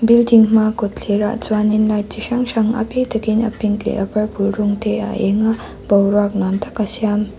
building hma kawtthler ah chuanin light chi hrang hrang a bik takin a pink leh a purple rawng te a eng a boruak nuam tak a siam.